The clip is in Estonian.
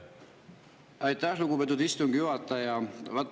Aitäh, lugupeetud istungi juhataja!